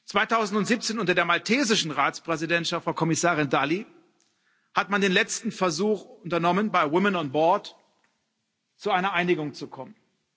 2017 unter der maltesischen Ratspräsidentschaft von Kommissarin Dalli hat man den letzten Versuch unternommen, bei Women on Board zu einer Einigung zu kommen.